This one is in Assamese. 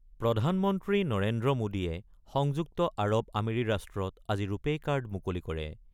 প্ৰধানমন্ত্ৰী নৰেন্দ্ৰ মোদীয়ে সংযুক্ত আৰৱ আমিৰি ৰাষ্ট্ৰত আজি ৰুপেই কাৰ্ড মুকলি কৰে।